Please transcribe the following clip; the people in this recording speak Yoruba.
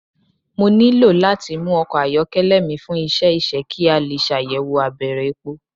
Mo nilo lati mu ọkọ ayọkẹlẹ mi fun iṣẹ iṣẹ ki a le ṣayẹwo abẹrẹ epo